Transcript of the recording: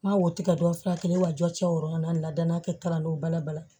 N b'a woto ka don a fura kelen wa jɔ cɛ o nn la da n'a kɛ kalandenw balabala